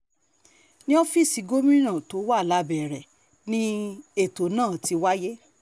ní ọ́fíìsì gómìnà tó wà labẹ́rẹ́ ni ètò náà ti wáyé